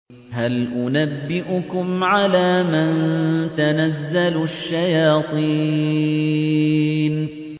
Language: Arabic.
هَلْ أُنَبِّئُكُمْ عَلَىٰ مَن تَنَزَّلُ الشَّيَاطِينُ